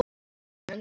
Iðnaður jókst enn.